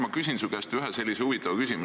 Ma küsin su käest ühe sellise huvitava küsimuse.